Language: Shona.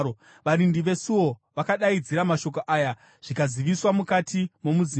Varindi vesuo vakadaidzira mashoko aya zvikaziviswa mukati momuzinda.